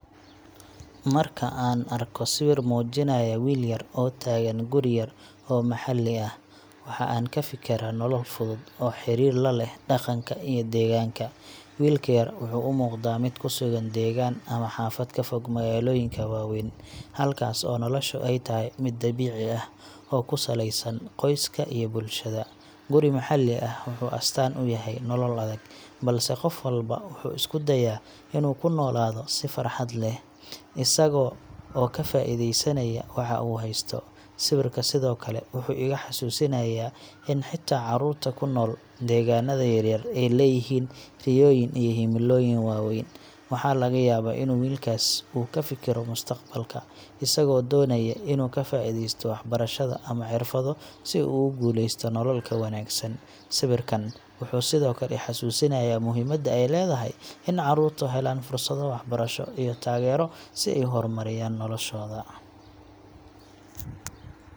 Marka aan arko sawir muujinaya wiil yar oo taagan guri yar oo maxalli ah, waxa aan ka fikiraa nolol fudud oo xiriir la leh dhaqanka iyo deegaanka. Wiilka yar wuxuu u muuqdaa mid ku sugan deegaan ama xaafad ka fog magaalooyinka waaweyn, halkaas oo nolosha ay tahay mid dabiici ah oo ku saleysan qoyska iyo bulshada. Guri maxalli ah wuxuu astaan u yahay nolol adag, balse qof walba wuxuu isku dayaa inuu ku noolaado si farxad leh, isaga oo ka faa’iideysanaya waxa uu haysto. Sawirka sidoo kale wuxuu igu xasuusinayaa in xitaa carruurta ku nool deegaanada yar-yar ay leeyihiin riyooyin iyo himilooyin waaweyn. Waxaa laga yaabaa inuu wiilkaas uu ku fikiro mustaqbalka, isagoo doonaya inuu ka faa’iidaysto waxbarashada ama xirfado si uu ugu guuleysto nolol ka wanaagsan. Sawirkan wuxuu sidoo kale i xasuusinayaa muhiimada ay leedahay in carruurtu helaan fursado waxbarasho iyo taageero si ay u horumariyaan noloshooda.